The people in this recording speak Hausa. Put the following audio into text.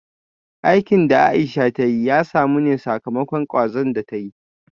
Aikin da Aisha ta yi ya samu ne sakamakon kwazon da ta yi